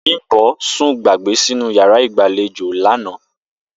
Bím̀bó̩ sùn gbàgbé sínú yàrá ìgbàlejò lánàá